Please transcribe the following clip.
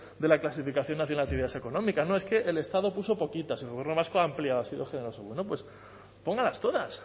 de la clasificación actividades no es que el estado puso poquitas el gobierno vasco ha ampliado ha sido generoso bueno pues pónganlas todas